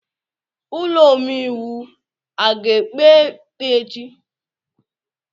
Ụlọ omeiwu a ga-ekpe ikpe echi?